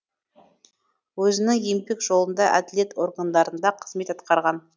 өзінің еңбек жолында әділет органдарында қызмет атқарған